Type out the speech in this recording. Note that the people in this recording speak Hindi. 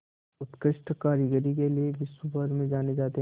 उत्कृष्ट कारीगरी के लिये विश्वभर में जाने जाते हैं